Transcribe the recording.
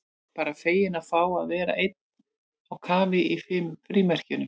Bara feginn að fá að vera einn á kafi í frímerkjunum.